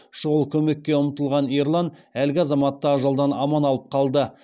шұғыл көмекке ұмтылған ерлан әлгі азаматты ажалдан аман алып қалды